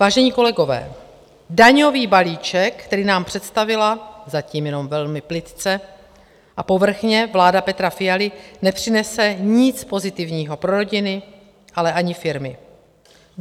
Vážení kolegové, daňový balíček, který nám představila, zatím jenom velmi plytce a povrchně, vláda Petra Fialy, nepřinese nic pozitivního pro rodiny, ale ani firmy.